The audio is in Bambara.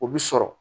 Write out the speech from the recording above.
O bi sɔrɔ